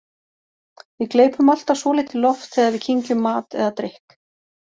Við gleypum alltaf svolítið loft þegar við kyngjum mat eða drykk.